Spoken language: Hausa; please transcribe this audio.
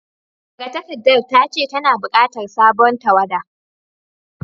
Magatakardar ta ce tana bukatar sabon tawada